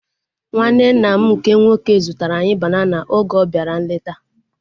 Nwanne nna m nke nwoke zụtara anyị banana oge ọ bịara nleta